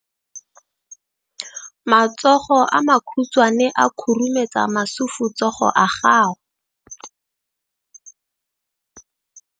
Matsogo a makhutshwane a khurumetsa masufutsogo a gago.